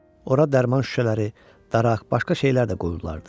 Ora dərman şüşələri, daraq, başqa şeylər də qoyulardı.